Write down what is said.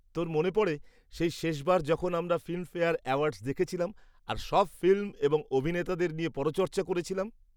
তোর মনে পড়ে সেই শেষবার যখন আমরা ফিল্মফেয়ার অ্যাওয়ার্ডস দেখেছিলাম আর সব ফিল্ম এবং অভিনেতাদের নিয়ে পরচর্চা করেছিলাম।